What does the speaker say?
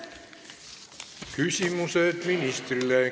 Küsimused ministrile.